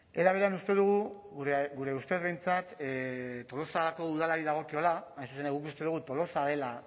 era berean uste dugu gure ustez behintzat tolosako udalari dagokiola hain zuzen guk uste dugu tolosa dela